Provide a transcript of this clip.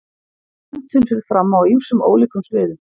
Menntun fer fram á ýmsum ólíkum sviðum.